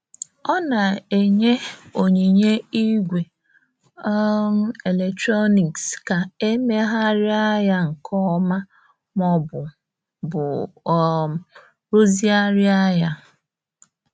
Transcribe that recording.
Ọ na-enye onyinye igwe um eletrọnịks ka a e megharịa ya nke ọma ma ọ bụ bụ um rụzigharịa ya.